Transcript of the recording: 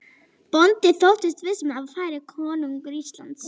Bóndi þóttist viss um að þar færi konungur Íslands.